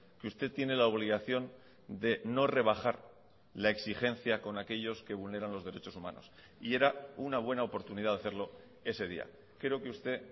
que usted tiene la obligación de no rebajar la exigencia con aquellos que vulneran los derechos humanos y era una buena oportunidad de hacerlo ese día creo que usted